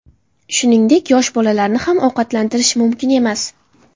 Shuningdek, yosh bolalarni ham ovqatlantirish mumkin emas.